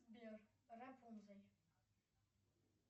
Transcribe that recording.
сбер рапунцель